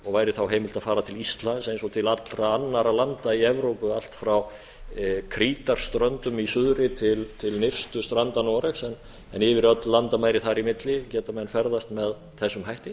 og væri þá heimilt að fara til íslands eins og til allra annarra landa í evrópu allt frá krítarströndum í suðri til nyrstu stranda noregs en yfir öll landamæri þar í milli geta menn ferðast með þessum hætti